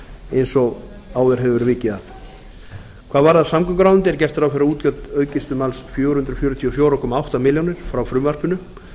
eins og áður hefur verið vikið að hvað varðar samgönguráðuneytið er gert ráð fyrir að útgjöld aukist um alls fjögur hundruð fjörutíu og fjögur komma átta milljónir frá frumvarpinu